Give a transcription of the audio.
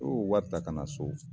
O lu wari ta ka na so.